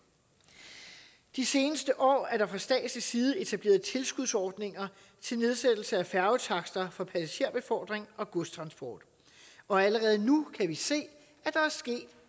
de seneste år er der fra statslig side etableret tilskudsordninger til nedsættelse af færgetakster for passagerbefordring og godstransport og allerede nu kan vi se at der er sket